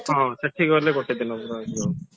ହଁ ସେଠି ଗଲେ ଗୋଟେ ଦିନ ରହିଯିବ